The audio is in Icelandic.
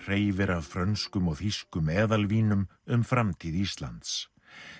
hreifir af frönskum og þýskum eðalvínum um framtíð Íslands